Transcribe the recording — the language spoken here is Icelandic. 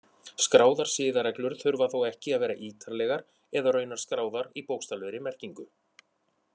Skráðar siðareglur þurfa þó ekki að vera ítarlegar eða raunar skráðar í bókstaflegri merkingu.